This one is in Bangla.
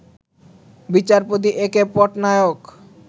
বিচারপতি এ কে পটনায়ক